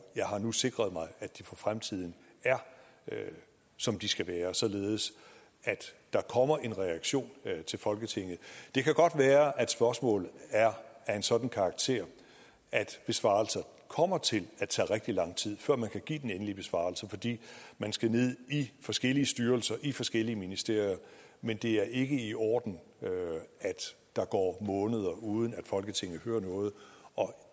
jeg har nu sikret mig at de for fremtiden er som de skal være således at der kommer en reaktion til folketinget det kan godt være at spørgsmålet er af en sådan karakter at besvarelsen kommer til at tage rigtig lang tid før man kan give den endelige besvarelse fordi man skal ned i forskellige styrelser i forskellige ministerier men det er ikke i orden at der går måneder uden at folketinget hører noget og